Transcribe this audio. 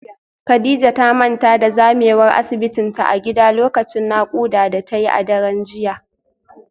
Kadijah ta manta da zamewar asibitinta a gida lokacin naƙuda da ta yi a daren jiya